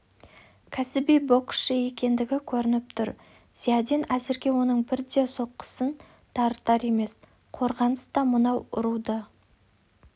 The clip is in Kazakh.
кәсіби боксшы екендігі көрініп тұр зиядин әзірге оның бір де соққысын дарытар емес қорғаныста мынау ұруды